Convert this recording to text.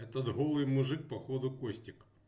этот голый мужик походу костик